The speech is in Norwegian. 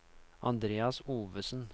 Andreas Ovesen